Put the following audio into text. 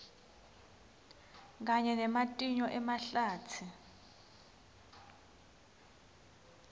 kanye nematinyo emahlatsi